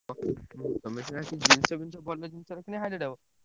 ତମେ ସିନା ଜିନିଷ ଫିନିଶ ଭଲ ଜିନିଷ ରଖିଲେ highlight ହବ ।